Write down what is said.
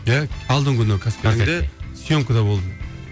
иә алдыңғы күні қаскелеңде сьемкада болдым